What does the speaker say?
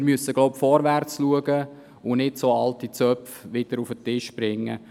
Wir müssen nun vorwärtsschauen und nicht solche alten Zöpfe wieder auf den Tisch bringen.